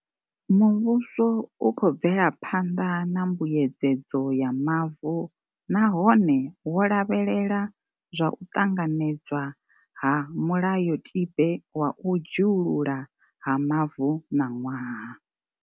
Mu vhuso u khou bvela phanḓa na mbuyedzedzo ya mavu nahone wo lavhelela zwa u ṱanganedzwa ha mulayotibe wa u dzhiululwa ha mavu ṋaṅwaha.